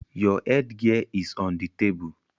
Your headgear is on the table